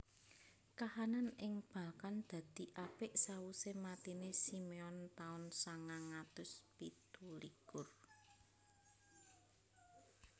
Kahanan ing Balkan dadi apik sawusé matiné Simeon taun sangang atus pitu likur